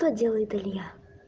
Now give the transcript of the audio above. то делает илья